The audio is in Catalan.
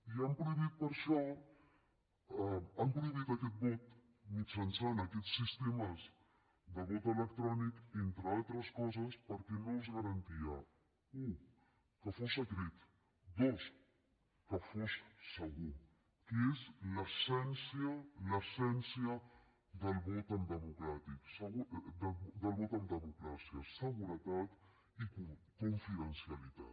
i han prohibit aquest vot mitjançant aquests sistemes de vot electrònic entre altres coses perquè no es garantia u que fos secret dos que fos segur que és l’essència l’essència del vot en democràcia seguretat i confidencialitat